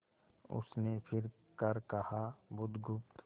उसने फिर कर कहा बुधगुप्त